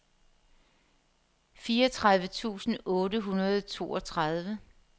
fireogtredive tusind otte hundrede og toogtredive